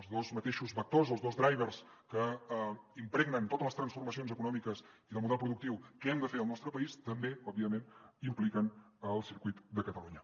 els dos mateixos vectors els dos drivers que impregnen totes les transformacions econòmiques i del model productiu que hem de fer al nostre país també òbviament impliquen el circuit de catalunya